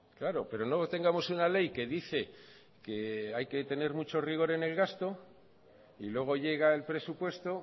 claro pero no tengamos una ley que dice que hay que tener mucho rigor en el gasto y luego llega el presupuesto